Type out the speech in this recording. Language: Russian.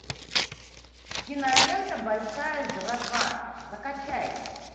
кинолента большая жратва закачай